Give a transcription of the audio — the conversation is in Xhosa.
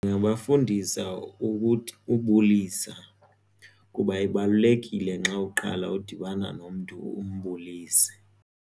Ndingabafundisa ukuthi ubulisa kuba ibalulekile nxa uqala udibana nomntu umbulise.